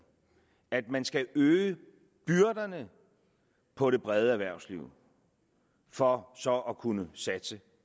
at man skal øge byrderne på det brede erhvervsliv for så at kunne satse